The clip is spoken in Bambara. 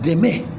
Dɛmɛ